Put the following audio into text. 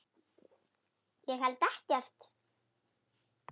Ég held ekkert.